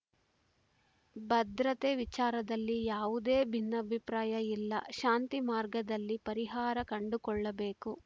ಭದ್ರತೆ ವಿಚಾರದಲ್ಲಿ ಯಾವುದೇ ಭಿನ್ನಾಭಿಪ್ರಾಯ ಇಲ್ಲ ಶಾಂತಿ ಮಾರ್ಗದಲ್ಲಿ ಪರಿಹಾರ ಕಂಡುಕೊಳ್ಳಬೇಕು